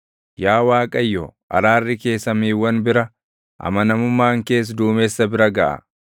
Yaa Waaqayyo, araarri kee samiiwwan bira, amanamummaan kees duumessa bira gaʼa.